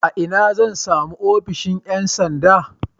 A ina zan sami ofishin ƴan sanda?